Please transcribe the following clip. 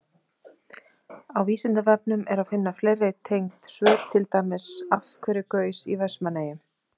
Á Vísindavefnum er að finna fleiri tengd svör, til dæmis: Af hverju gaus í Vestmannaeyjum?